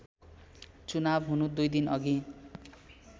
चुनाव हुनु २ दिनअघि